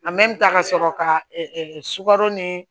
ka sɔrɔ ka sukaro ni